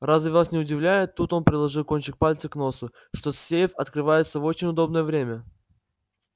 разве вас не удивляет тут он приложил кончик пальца к носу что сейф открывается в очень удобное время